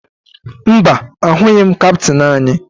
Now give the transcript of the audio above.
Mba, ahụghị m kaptịn anyị